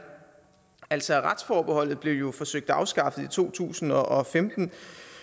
altså retsforbeholdet blev jo forsøgt afskaffet i to tusind og femten